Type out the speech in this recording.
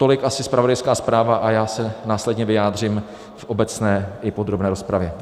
Tolik asi zpravodajská zpráva a já se následně vyjádřím v obecné i podrobné rozpravě.